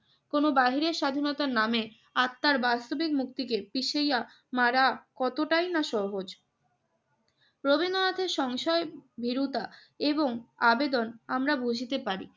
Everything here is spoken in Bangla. কোন বাহিরে স্বাধীনতার নামে আত্মার বাস্তবিক মুক্তিকে পিষাইয়া মারা কতটাই না সহজ। রবীন্দ্রনাথের সংশয় ভীরুতা এবং আবেদন আমরা বুঝিতে পারি।